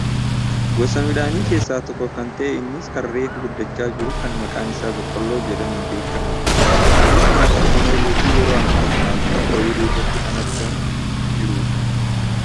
Gosa midhaanii keessaa tokko kan ta'e innis kan reefu guddachaa jiru kan maqaan isaa boqqoolloo jedhamuun beekkamudha. Kunis nyaataaf kan ooluufi yeroo ammaa kana ammoo ooyiruu irratti kan argamaa jirudha.